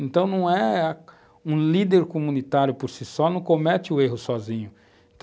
Então, não é um líder comunitário por si só, não comete o erro sozinho.